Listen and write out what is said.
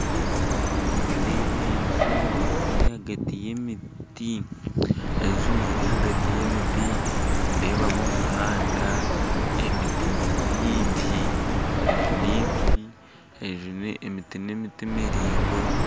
Nindeeba enju ziri ahagati y'emiti nindeebamu omuhanda, emiti ni mingi enju ni ibiri emiti n'emiti miraingwa.